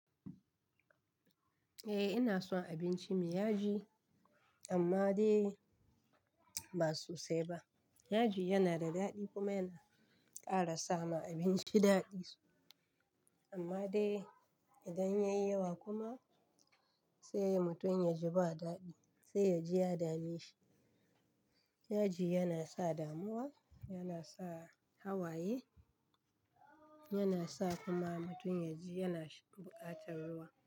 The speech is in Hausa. Eh ina son abinci mai yaji amma dai ba so sai ba. Yaji yana da daɗi kuma yana ƙara sama abinci daɗi su. Amma dai idan yayi yawa kuma sai mutum ya ji ba daɗi, sai yaji ya dame shi. Yaji yana sa damuwa, yana sa hawaye, yana sa kuma mutum yaji yana buƙatar ruwa.